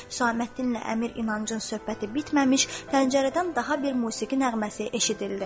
Səlahəddinlə Əmir İnancın söhbəti bitməmiş, pəncərədən daha bir musiqi nəğməsi eşidildi.